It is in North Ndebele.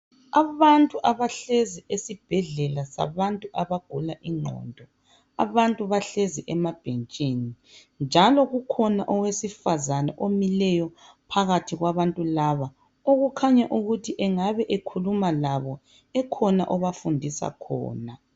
Abantu abahlezi esibhedlela sabantu abagula ingqondo .Abantu bahlezi emabhentshini .Njalo kukhona owesifazana omileyo phakathi kwabantu laba .Okukhanya ukuthi engabe ekhuluma labo ekhona ebafundisa khona.